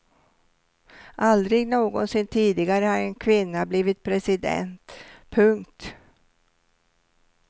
Aldrig någonsin tidigare har en kvinna blivit president. punkt